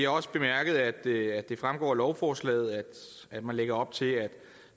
også bemærket at det fremgår af lovforslaget at man lægger op til at